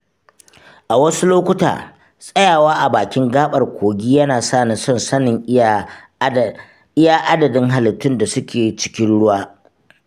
A wasu lokuta, tsayawa a bakin gaɓar kogi yana sani son sanin iya adadin halittun da su ke cikin ruwa.